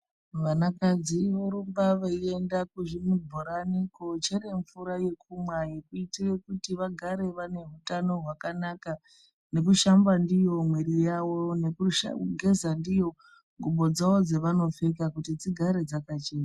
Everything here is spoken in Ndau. Vanakadzi vorumba veienda kuzvibhorani kochere mvura yekumwa yekuitira kuti vagare vane utano hwakanaka nekushamba ndiyo mwiri yavo nekugeza ndiyo ngubo dzavo dzavanopfeka kuti dzigare dzakachena.